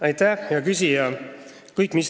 Aitäh, hea küsija!